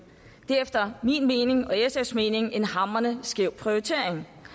det er efter min mening og sfs mening en hamrende skæv prioritering